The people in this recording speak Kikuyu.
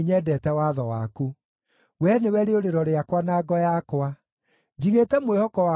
Wee nĩwe rĩũrĩro rĩakwa na ngo yakwa; njigĩte mwĩhoko wakwa kiugo-inĩ gĩaku.